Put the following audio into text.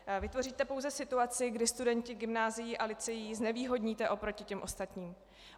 Vytvoříte pouze situaci, kdy studenty gymnázií a lyceí znevýhodníte oproti těm ostatním.